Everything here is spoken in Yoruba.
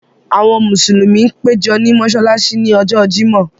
Àwọn Musulumi pẹ̀jọ ní Mossalàssí ní Ọ̀jọ̀ Jímọ̀